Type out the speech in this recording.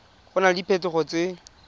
go na le diphetogo tse